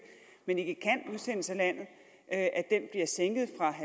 men ikke kan udsendes af